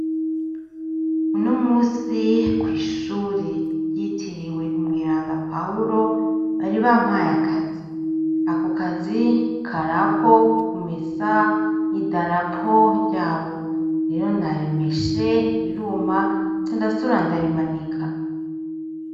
Uno musi kw'ishuri ryitiriwe umweranda pahulo bari bampaye akazi ako kazi karako ku mesa i darapo ryabo rero narimeshe riruma candasubira ndarimanika.